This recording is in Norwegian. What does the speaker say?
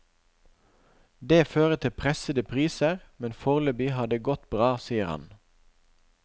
Det fører til pressede priser, men foreløpig har det gått bra, sier han.